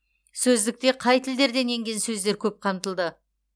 сөздікте қай тілдерден енген сөздер көп қамтылды